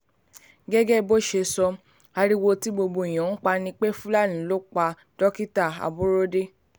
gẹ́gẹ́ bó ṣe sọ ariwo tí gbogbo èèyàn ń pa ni pé àwọn fúlàní ló pa dókítà aborode